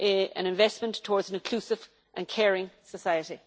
an investment towards an inclusive and caring society.